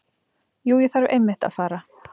Jú, ég þarf einmitt að fara.